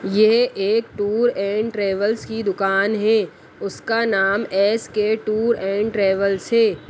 यह एक tour and travels की दुकान है उसका नाम एस_के टूर एंड ट्रेवल्स है।